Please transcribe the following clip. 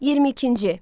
22-ci.